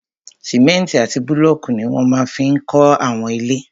Sìmẹ́ntì àti búlọ̀kù ní wọ́n máa fi n kọ́ àwọn ilé